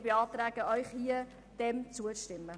Ich beantrage Ihnen, diesem Vorschlag zuzustimmen.